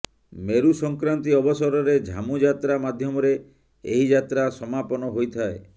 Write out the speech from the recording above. ମେରୁସଂକ୍ରାନ୍ତି ଅବସରରେ ଝାମୁ ଯାତ୍ରା ମାଧ୍ୟମରେ ଏହି ଯାତ୍ରା ସମାପନ ହୋଇଥାଏ